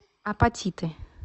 апатиты